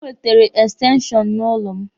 O wetere ekstenshọnụ n'ụlọ m.